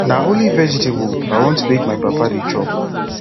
na only vegetable i want make my papa dey chop